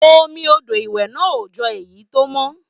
Omi odò ìwẹ̀ náà ò jọ èyí tó mọ́.